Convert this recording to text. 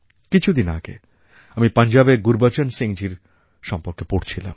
কিছুদিন আগে আমি পঞ্জাবের গুরুবচন সিংজীর সম্বন্ধে পড়ছিলাম